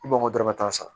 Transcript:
I b'o dɔrɔmɛ tan san